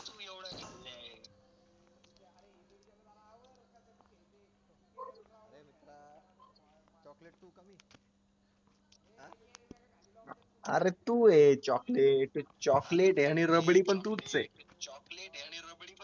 अरे तू ये choclatechoclate आणि पण तूच ए